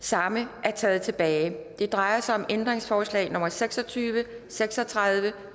samme er taget tilbage det drejer sig om ændringsforslag nummer seks og tyve seks og tredive